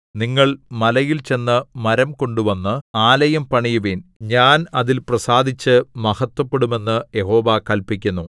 നിങ്ങൾ മലയിൽ ചെന്ന് മരം കൊണ്ടുവന്ന് ആലയം പണിയുവിൻ ഞാൻ അതിൽ പ്രസാദിച്ച് മഹത്വപ്പെടും എന്ന് യഹോവ കല്പിക്കുന്നു